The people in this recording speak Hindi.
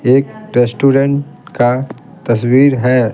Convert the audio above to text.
एक रेस्टोरेंट का तस्वीर है।